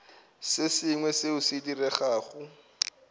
se sengwe seo se diregago